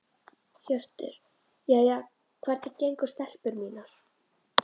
Hjörtur: Jæja, hvernig gengur stelpur mínar?